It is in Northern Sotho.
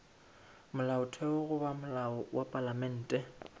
molaotheo goba molao wa palamente